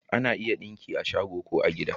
Ana iya yin ɗinki a shago ko a gida